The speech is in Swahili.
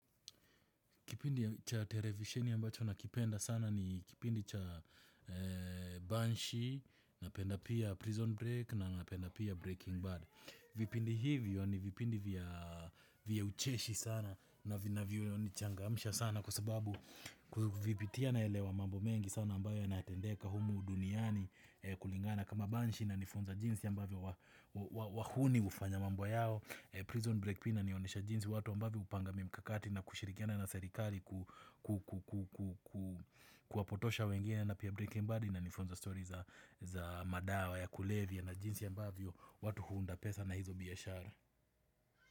Kipindi cha televisheni ambacho nakipenda sana ni kipindi cha Banshee, napenda pia Prison break na napenda pia Breaking Bad. Vipindi hivyo ni vipindi vya ucheshi sana na vinavyo nichangamisha sana kwa sababu kuvipitia naelewa mambo mengi sana ambayo yanatendeka humu duniani kulingana. Na kama banshi inanifunza jinsi ambavyo wahuni hufanya mambo yao. Prison break pia inanionyesha jinsi watu ambavyo hupanga mimkakati na kushirikiana na serikali kuwapotosha wengine na pia breaking body inanifunza story za madawa ya kulevya na jinsi ambavyo watu huunda pesa na hizo biashara.